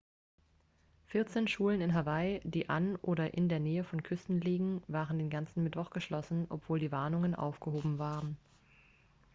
vierzehn schulen in hawaii die an oder in der nähe von küsten liegen waren den ganzen mittwoch geschlossen obwohl die warnungen aufgehoben worden waren